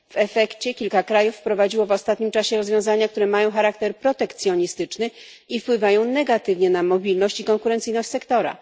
W efekcie kilka krajów wprowadziło w ostatnim czasie rozwiązania, które mają charakter protekcjonistyczny i wpływają negatywnie na mobilność i konkurencyjność sektora.